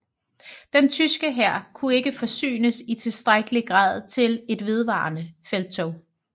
Den tyske hær kunne ikke forsynes i tilstrækkelig grad til et vedvarende felttog